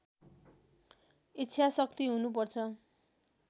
इच्छा शक्ति हुनुपर्छ